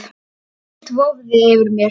Ekkert vofði yfir mér.